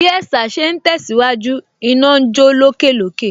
Bí ẹ̀sà ṣe ń tẹ̀síwájú, iná ń jó lókè lókè